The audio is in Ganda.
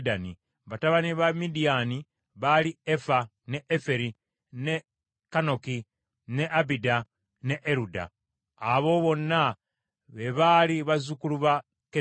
Batabani ba Midiyaani baali Efa, ne Eferi, ne Kanoki, ne Abida ne Eruda. Abo bonna be baali bazzukulu ba Ketula.